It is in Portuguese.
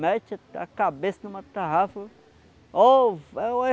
Mete a cabeça em uma tarrafa,